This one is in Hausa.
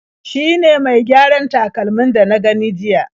Shi ne mai gyaran takalmin da na gani jiya..